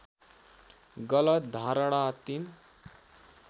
गलत धारणा ३